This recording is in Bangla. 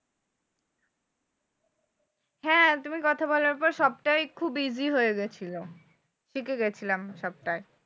হ্যাঁ তুমি কথা বলার পর সবটাই খুব easy হয়ে গেছিলো। শিখে গেছিলাম সবটাই।